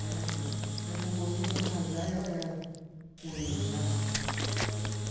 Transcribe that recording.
É, mas daqui um pouquinho eu vou casar, e olha ela com ele lá ali. Ela teve